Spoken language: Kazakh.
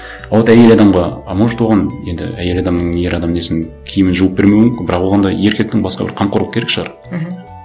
а вот әйел адамға а может оған енді әйел адамның ер адамның несін киімін жуып бермеуі мүмкін бірақ оған да еркектің басқа бір қамқорлық керек шығар мхм